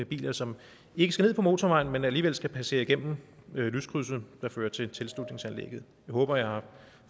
biler som ikke skal ned på motorvejen men som alligevel skal passere igennem lyskrydset der fører til tilslutningsanlægget jeg håber jeg har